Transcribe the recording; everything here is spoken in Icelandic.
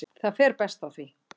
Það fer best á því.